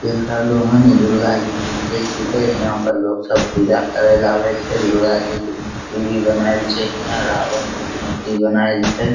देख रहलो हैन इ दुर्गा जी के मंदिर छिके हीया पर लोग सब पूजा करेल आवे छै दुर्गा जी के मूर्ति भी बनल छै हीया रावण के मूर्ति भी बन छै।